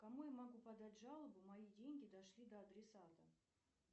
кому я могу подать жалобу мои деньги дошли до адресата